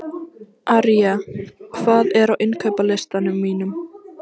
Arja, hvað er á innkaupalistanum mínum?